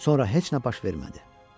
Sonra heç nə baş vermədi.